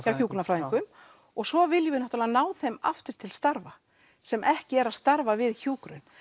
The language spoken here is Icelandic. hjá hjúkrunarfræðingum og svo viljum við náttúrulega ná þeim aftur til starfa sem ekki eru að starfa við hjúkrun